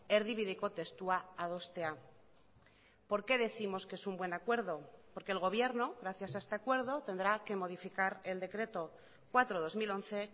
erdibideko testua adostea por qué décimos que es un buen acuerdo porque el gobierno gracias a este acuerdo tendrá que modificar el decreto cuatro barra dos mil once